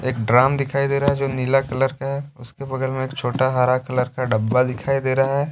Drum दिखाई दे रहा है जो नीला कलर का है उसके बगल में एक छोटा हरा कलर का डब्बा दिखाई दे रहा है।